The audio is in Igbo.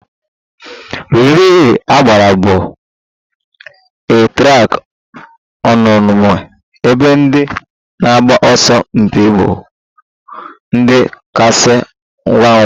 Relay agbụrụ bụ a track omume ebe ndị na-agba ọsọ mpi ịbụ ndị kasị ngwa ngwa